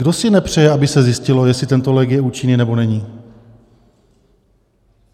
Kdo si nepřeje, aby se zjistilo, jestli tento lék je účinný, nebo není?